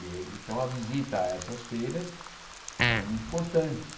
Eh então, a visita a essas feiras era muito importante.